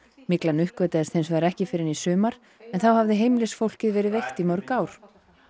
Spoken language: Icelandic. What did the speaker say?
myglan uppgötvaðist hins vegar ekki fyrr en í sumar en þá hafði heimilisfólkið verið veikt í mörg ár